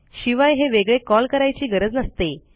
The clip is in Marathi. शिवाय हे वेगळे कॉल करायची गरज नसते